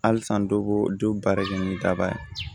Halisa dɔ b'o dɔ baara kɛ ni daba ye